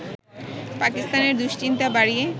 পাকিস্তানের দুশ্চিন্তা বাড়িয়ে